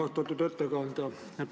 Austatud ettekandja!